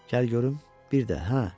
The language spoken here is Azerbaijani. Gəl görüm bir də hə.